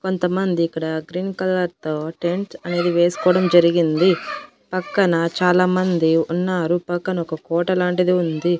కొంతమంది ఇక్కడ green colour తో టెంట్స్ అనేది వేసుకోవడం జరిగింది పక్కన చాలా మంది ఉన్నారు పక్కన ఒక కోట లాంటిది ఉంది.